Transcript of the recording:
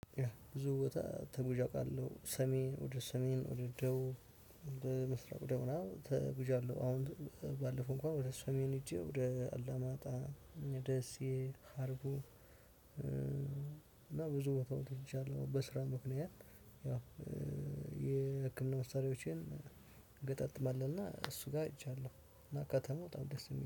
ብዙ ቦታ ተጉዤ አውቃለሁ። ሰሜን ወደ ሰሜን ወደ ደቡብ ወደ ምስራቅ ወደ ሆና ተጉዣለሁ። አሁን ባለፈው እንኳን ወደ ሰሜን ሄጄ ወደ አላማጣ ደሴ አርጉ። እና ብዙ ቦታ ወጥቻለሁ። በስራ ምክንያት ያው የህክምና መሳሪያዎቼን እገጣጥማለሁ እና እሱ ሄጃለሁ። ከተማ በጣም ደስ የሚለው